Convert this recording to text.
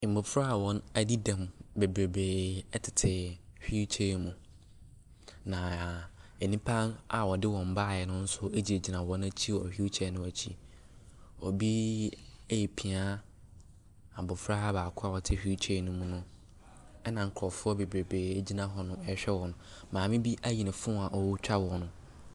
Mmɔfra a wɔadi dɛm bebrebree tete wheel chair mu. Na nnipa a wɔde wɔn baeɛ no nso gyingyina wɔn akyi wɔ wheel chair no akyi. Obi repia abɔfra baako a ɔte wheel chair no mu no, ɛna nkurɔfoɔ bebrebree gyina hɔnom rehwɛ wɔn. Maame bi ayi ne phone a ɔretwa wɔn.